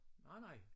Nej nej